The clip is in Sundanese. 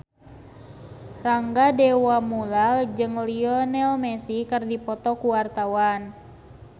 Rangga Dewamoela jeung Lionel Messi keur dipoto ku wartawan